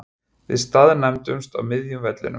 Við staðnæmumst á miðjum vellinum.